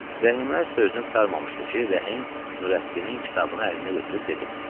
Rəhimə öz sözünü qurtarmamışdı ki, Rəhim Nurəddinin kitabını əlinə götürüb dedi.